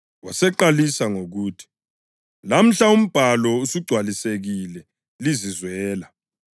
waseqalisa ngokuthi kubo, “Lamhla umbhalo usugcwalisekile lizizwela.”